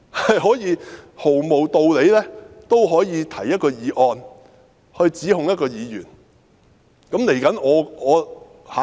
在毫無道理的情況下，他們仍可提出一項議案，指控一位議員。